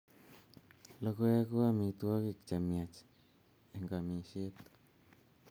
Logoek ko amitwogik che miach ang amisiet